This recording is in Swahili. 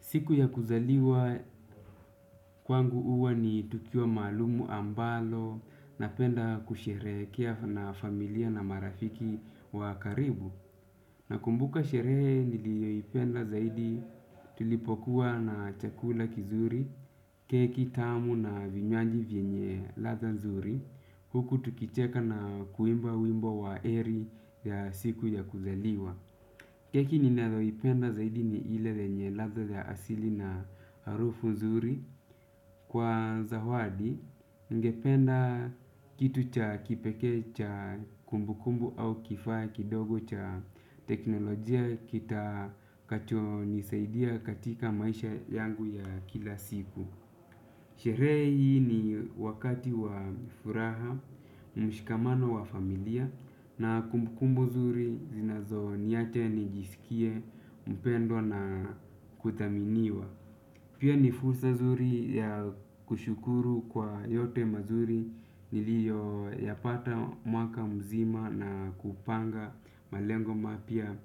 Siku ya kuzaliwa kwangu uwa ni tukio maalumu ambalo napenda kusherehekea na familia na marafiki wa karibu. Nakumbuka sherehe nilioipenda zaidi tulipokuwa na chakula kizuri, keki tamu na vinywaji vienye latha nzuri. Huku tukicheka na kuimba wimbo wa eri ya siku ya kuzaliwa. Keki ninaloipenda zaidi ni ile yenye ladha ya asili na harufu nzuri kwa zawadi ningependa kitu cha kipekee cha kumbu kumbu au kifaa kidogo cha teknolojia kitakacho nisaidia katika maisha yangu ya kila siku. Shirehe hii ni wakati wa furaha, mshikamano wa familia na kumbukumbu zuri zinazo niache nijisikie, mpendwa na kuthaminiwa. Pia ni fursa zuri ya kushukuru kwa yote mazuri ni iyo yapata mwaka mzima na kupanga malengo mapya